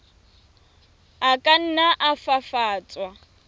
a ka nna a fafatswa